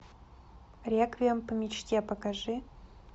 реквием по мечте покажи